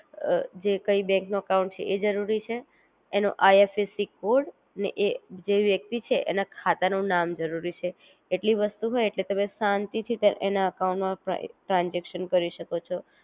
અ જે કઈ બેન્ક નું અકાઉંટ છે એ જરૂરી છે, એનો આઈએફએસસી કોડ ને એ જે વ્યક્તિ છે એના ખાતા નું નામ જરૂરી છે એટલી વસ્તુ હોય એટલે તમે શાંતિ થી તે એના અકાઉંટ માં પઈ ટ્રાનજેક્શન કરી શકો છો